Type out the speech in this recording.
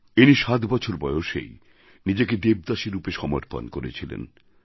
ইনি সাত বছর বয়সেই নিজেকে দেবদাসী রূপে সমর্পণ করেছিলেন